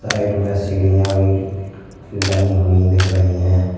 Side में सीढ़िया भी बनी हुई दिख रही है।